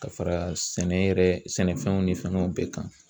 Ka fara sɛnɛ yɛrɛ sɛnɛfɛnw ni fɛngɛw bɛɛ kan.